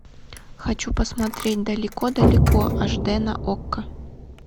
хочу посмотреть далеко далеко аш д на окко